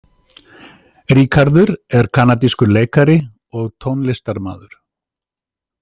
Ríkharður er kanadískur leikari og tónlistarmaður.